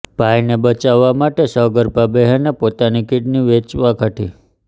ભાઈને બચાવવા માટે સગર્ભા બહેને પોતાની કીડની વેચવા કાઢી